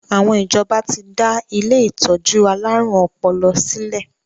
Àwọn ìjọba ti dá ilé ìtọ́jú alárùn ọpọlọ sílè.